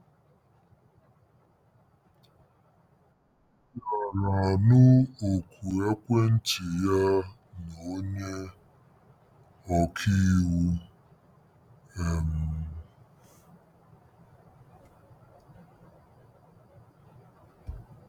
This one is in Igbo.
Ị gaara anụ oku ekwentị ya na onye ọka iwu! um